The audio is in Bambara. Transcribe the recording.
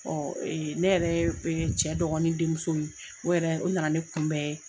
ne yɛrɛ cɛ dɔgɔnin denmuso o yɛrɛ o na na ne kunbɛ.